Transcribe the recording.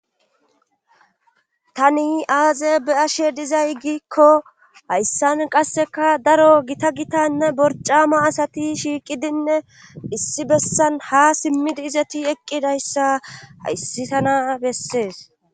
tani aazebe7ashe dizaygikko hayssan qasseka daro gita gitanne borcama asati shiiqidinne issi bessan ha simmidi izati eqqidayssa hayssi tana bessees